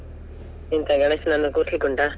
ಎಂತ ಗಣೇಶನನ್ನು ಕೂರಿಸ್ಲಿಕ್ಕೆ ಉಂಟಾ?